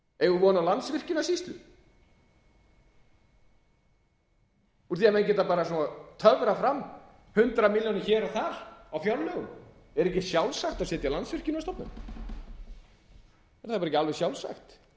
eigum við von á landsvirkjunarsýslu úr því að menn geta töfrað fram hundrað milljónir hér og þar á fjárlögum er ekki sjálfsagt að setja landsvirkjunarstofnun er